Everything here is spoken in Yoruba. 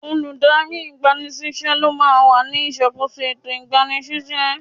Olùdarí ìgba ni síṣẹ́ ló máa wà ní ìṣàkóso ètò ìgbani síṣẹ́.